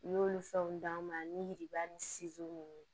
N y'olu fɛnw d'an ma ani yiriba ni ninnu